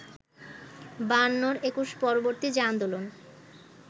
বায়ান্নর একুশ-পরবর্তী যে আন্দোলন